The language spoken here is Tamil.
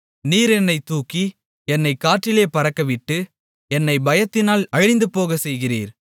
நீர் என்னைத் தூக்கி என்னைக் காற்றிலே பறக்கவிட்டு என்னைப் பயத்தினால் அழிந்துபோகச் செய்கிறீர்